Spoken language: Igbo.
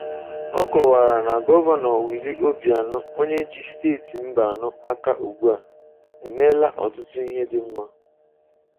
Ọ kọwara na Gọvanọ Willie Obianọ, onye ji Steeti Anambra aka ugbu a, emeela ọtụtụ ihe dị mma.